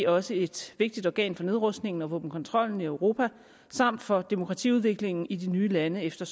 også et vigtigt organ for nedrustningen og våbenkontrollen i europa samt for demokratiudviklingen i de nye lande efter